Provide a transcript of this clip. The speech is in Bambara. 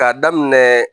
K'a daminɛ